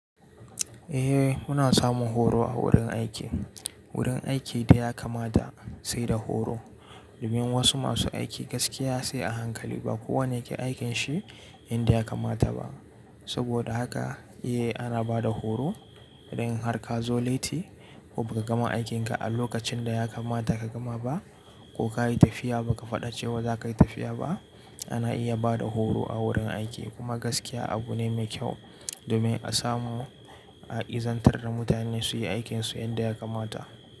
Eh muna samun horo a wurin aiki. Wurin aiki da ya kamata sai da horo domin wasu masu aiki gaskiya sai a hankali ba kowane yake aikin shi inda ya kamata ba. Saboda haka eh ana ba da horo idan har ka zo laiti ko ba ka gama aikin ka a lokacin da ya kamata ka gama ba ko ka yi tafiya ba ka faɗa cewa za ka yi tafiya ba. Ana iya ba da horo a wurin aiki kuma gaskiya abu ne mai kyau domin a samu a izantar da mutane su yi aikin su yadda ya kamata.